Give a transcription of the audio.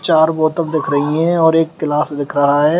चार बोतल दिख रही है और एक ग्लास दिख रहा है।